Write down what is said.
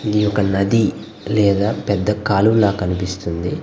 ఇది ఒక నది లేదా పెద్ద కాలువ లాగా కనిపిస్తుంది.